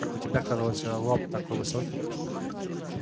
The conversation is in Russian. у тебя казалось лоб такой высокий